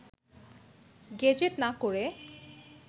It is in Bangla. গেজেট না করে